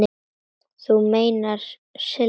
Þú meinar Silli?